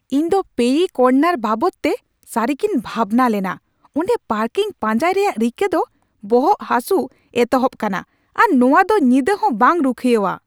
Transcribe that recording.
ᱤᱧᱫᱚ ᱯᱮᱭᱨᱤ ᱠᱚᱨᱱᱟᱨ ᱵᱟᱵᱚᱫᱛᱮ ᱥᱟᱹᱨᱤᱜᱮᱧ ᱵᱷᱟᱵᱽᱱᱟ ᱞᱮᱱᱟ ᱾ ᱚᱸᱰᱮ ᱯᱟᱨᱠᱤᱝ ᱯᱟᱧᱡᱟᱭ ᱨᱮᱭᱟᱜ ᱨᱤᱠᱟᱹ ᱫᱚᱵᱚᱦᱚᱜ ᱦᱟᱹᱥᱩ ᱮᱛᱚᱦᱚᱵ ᱠᱟᱱᱟ, ᱟᱨ ᱱᱚᱶᱟᱫᱚ ᱧᱤᱫᱟᱹᱦᱚᱸ ᱵᱟᱝ ᱨᱩᱠᱷᱤᱭᱟᱹᱣᱟ ᱾